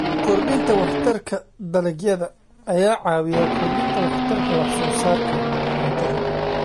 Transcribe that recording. Kordhinta Waxtarka Dalagyada ayaa caawiya kordhinta waxtarka wax soo saarka cuntada.